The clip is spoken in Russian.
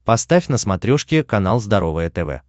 поставь на смотрешке канал здоровое тв